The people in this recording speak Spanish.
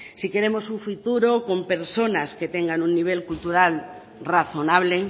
si queremos un futuro con personas que tengan un nivel cultural razonable